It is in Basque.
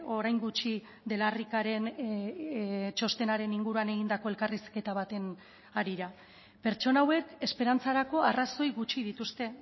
orain gutxi de la ricaren txostenaren inguruan egindako elkarrizketa baten harira pertsona hauek esperantzarako arrazoi gutxi dituzte